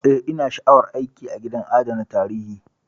Eh,, ina sha'awar aiki a gidajen adana tarihi.